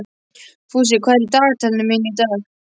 Fúsi, hvað er í dagatalinu í dag?